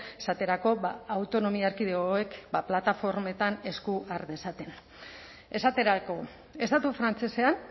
esaterako autonomia erkidegoek plataformetan esku har dezaten esaterako estatu frantsesean